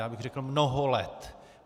Já bych řekl mnoho let.